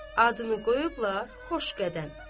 Adını qoyublar Xoşqədəm.